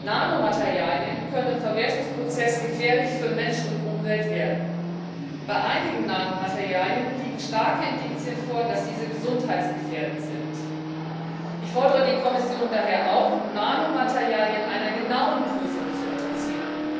Nanomaterialien können im Verwertungsprozess für Mensch und Umwelt gefährlich werden. Bei einigen Nanomaterialien liegen starke Indizien dafür vor, dass diese gesundheitsgefährdend sind. Ich fordere die Kommission daher auf, Nanomaterialien einer genauen Prüfung zu unterziehen.